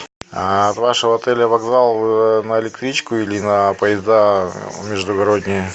а от вашего отеля вокзал на электричку или на поезда междугородние